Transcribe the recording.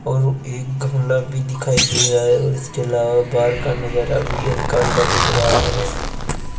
और वो एक गमला भी दिखाई दे रहा है और इसके अलावा बाहर का नजारा भी हल्का हल्का दिख रहा है।